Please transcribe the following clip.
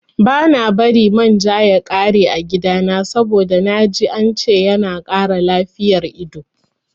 Bana bari man ja ya ƙare a gidana saboda naji ance yana kara lafiyar ido